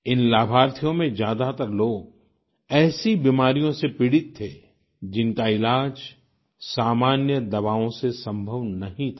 इन लाभार्थियों में ज्यादातर लोग ऐसी बीमारियों से पीड़ित थे जिनका इलाज सामान्य दवाओं से संभव नहीं था